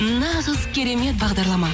нағыз керемет бағдарлама